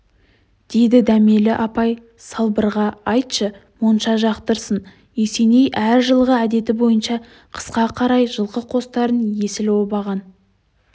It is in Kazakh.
деді дәмелі апай салбырға айтшы монша жақтырсын есеней әр жылғы әдеті бойынша қысқа қарай жылқы қостарын есіл обаған